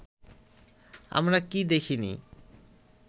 আমরা কি দেখিনি